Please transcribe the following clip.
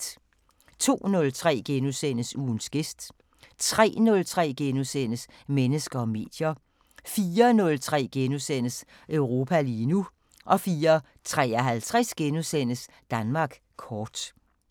02:03: Ugens gæst * 03:03: Mennesker og medier * 04:03: Europa lige nu * 04:53: Danmark kort *